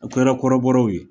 a kɛra kɔrɔbɔrɔw ye